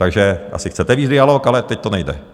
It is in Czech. Takže asi chcete vést dialog, ale teď to nejde.